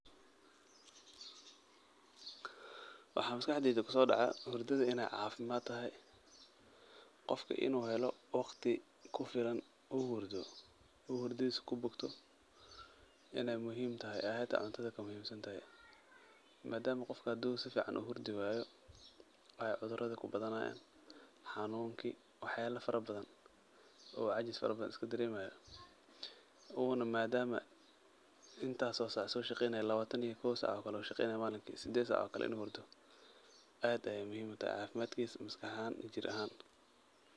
Waxaa maskaxdeyda kusoodaca hurdada inaay caafimaad tahay. Qofka inuu helo wakhti kufilan uu hurdo uu hurdidiisa kubokto inaay muhiim tahay, ay hataa cuntada kamuhiimsantahay. Maadaama qofka haduu sificaan uhurdi waayo, ay cudurada kubadanaayaan hanuunki, waxyaalo farabadan oo cajis farabadan iskadereemaayo. Uuna maadaama intaas oo sac aa sooshaqeynaay, labaatan iyo kow sac oo kale malinkii, sideed sac ookale, inuu hurdo aad ayaay muhiim utahay cafimaad kiisa maskax ahaan, jir ahaan.